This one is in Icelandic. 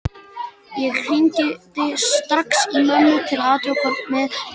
Ég hringdi strax í mömmu til að athuga með krakkana.